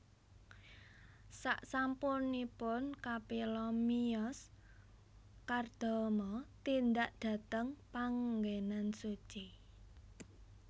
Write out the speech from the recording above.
Saksampunipun Kapila miyos Kardama tindak dhateng panggenan suci